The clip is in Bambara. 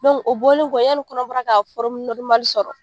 o bɔlen kɔ yani kɔnɔbara ka sɔrɔ